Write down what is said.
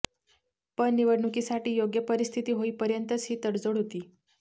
पण निवडणुकीसाठी योग्य परिस्थिती होईपर्यंतच ही तडजोड होती